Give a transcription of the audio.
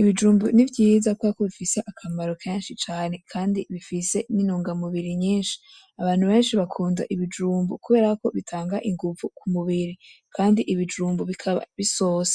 ibijumbu n'ivyiza kubera ko bifise akamaro kenshi cane kandi bifise n'intungamubiri nyinshi, abantu benshi bakunda ibijumbu kuberako bitanga inguvu k'umubiri kandi ibijumbu bikaba bisosa.